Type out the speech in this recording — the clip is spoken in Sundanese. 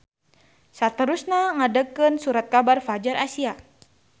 Saterusna ngadegkeun surat kabar Fadjar Asia.